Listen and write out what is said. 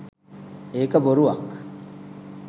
ඒක බොරුවක්.